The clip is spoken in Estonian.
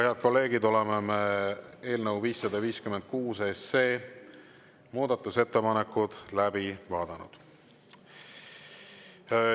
Head kolleegid, oleme eelnõu 556 muudatusettepanekud läbi vaadanud.